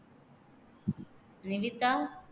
Nikita